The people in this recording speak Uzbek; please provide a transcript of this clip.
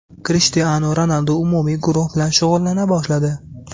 Krishtianu Ronaldu umumiy guruh bilan shug‘ullana boshladi .